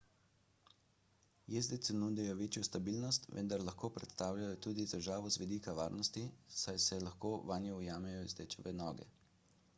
jezdecu nudijo večjo stabilnost vendar lahko predstavljajo tudi težavo z vidika varnosti saj se lahko vanje ujamejo jezdečeve noge